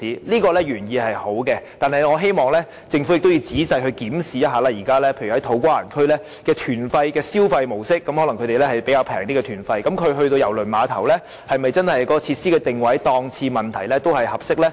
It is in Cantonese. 此舉原意是好的，但我希望政府仔細檢視現時在土瓜灣區的旅行團的消費模式，那些旅客的團費可能較為便宜，如他們到郵輪碼頭消費時，郵輪碼頭的設施定位、檔次是否真的合適呢？